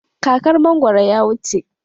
Kakar mangwaro ya wuce.